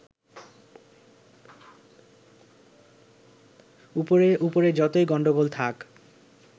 উপরে উপরে যতই গন্ডগোল থাক